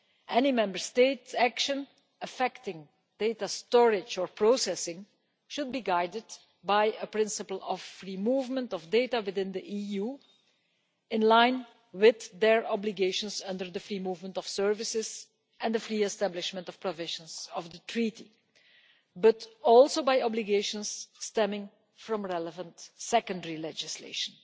Any Member State's action affecting data storage or processing should be guided by a principle of free movement of data within the EU in line with their obligations under the free movement of services and the free establishment provisions of the Treaty, but also by obligations stemming from relevant secondary legislation.